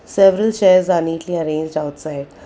several chairs are neatly arranged outside.